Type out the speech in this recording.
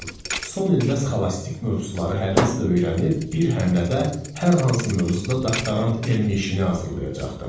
Son ildə sxolastik mövzuları həvəslə öyrənib, bir həmlədə hər hansı mövzuda doktorant elmi işini hazırlayacaqdım.